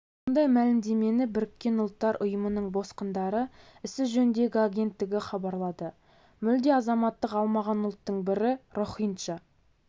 мұндай мәлімдемені біріккен ұлттар ұйымының босқындар ісі жөніндегі агенттігі хабарлады мүлде азаматтық алмаған ұлттың бірі рохинджа